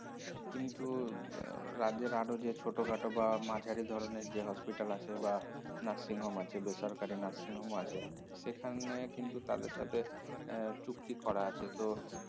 কিন্তু এর রাজ্যের আরো যে ছোটখাট বা মাঝারি ধরনের যে hospital আছে বা nursing home আছে বেসরকারি nursing home আছে সেখানে কিন্তু তাদের সাথে এর চুক্তি করা আছে তো